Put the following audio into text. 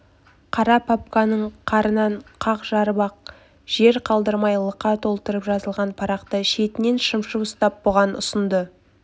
қара папканың қарынын қақ жарып ақ жер қалдырмай лықа толтырып жазылған парақты шетінен шымшып ұстап бұған ұсынды